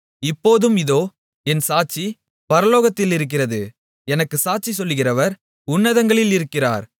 இப்போதும் இதோ என் சாட்சி பரலோகத்திலிருக்கிறது எனக்குச் சாட்சி சொல்லுகிறவர் உன்னதங்களில் இருக்கிறார்